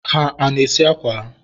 ha ana-esi akwa ha?